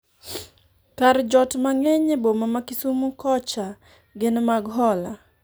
kar jot mang'eny e boma ma Kisumo kocha gin mag hola